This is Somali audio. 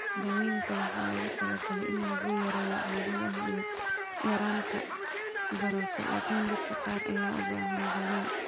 Daaweynta waxaa loogu talagalay in lagu yareeyo calaamadaha iyo yaraynta bararka, laakiin dadka qaar ayaa u baahan qaliin.